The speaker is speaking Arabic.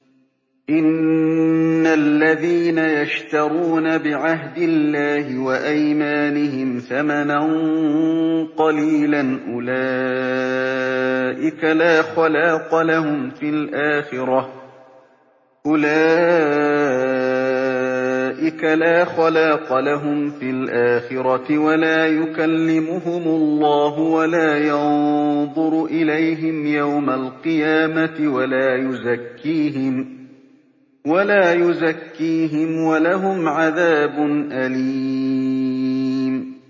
إِنَّ الَّذِينَ يَشْتَرُونَ بِعَهْدِ اللَّهِ وَأَيْمَانِهِمْ ثَمَنًا قَلِيلًا أُولَٰئِكَ لَا خَلَاقَ لَهُمْ فِي الْآخِرَةِ وَلَا يُكَلِّمُهُمُ اللَّهُ وَلَا يَنظُرُ إِلَيْهِمْ يَوْمَ الْقِيَامَةِ وَلَا يُزَكِّيهِمْ وَلَهُمْ عَذَابٌ أَلِيمٌ